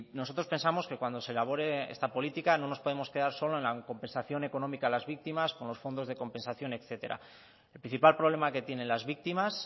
nosotros pensamos que cuando se elabore esta política no nos podemos quedar solo en la compensación económica a las víctimas con los fondos de compensación etcétera el principal problema que tienen las víctimas